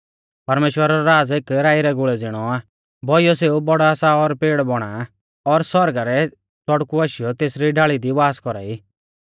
परमेश्‍वरा रौ राज़ एक राई रै गुल़ै ज़िणौ आ बौइयौ सेऊ बौड़ा सा और पेड़ बौणा आ और आसमाना रै च़ड़कु आशीयौ तेसरी डाल़ी दी वास कौरा ई